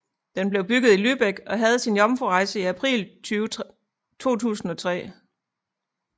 Den blev bygget i Lübeck og havde sin jomfrurejse i april 2003